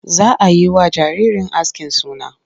Za a yi wa jaririn askin suna.